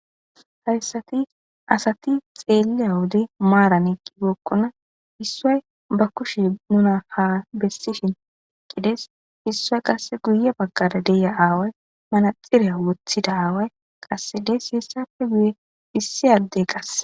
Hayssati asati xeelliya wode maaran eeqqibookkona issoy ba kushe nuna ha bessishin qides issoy qasse guye baggara deiya aaway manaxiriya wothida aaway qassedes siessafe guye issi addey qasse.